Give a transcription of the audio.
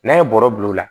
N'a ye bɔrɔ bil'o la